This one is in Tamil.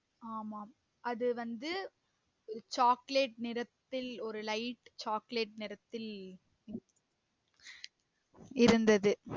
ஆமாம் அது வந்து ஒரு chocolate நிறத்தில் ஒரு lite chocolate நிறத்தில் இருந்தது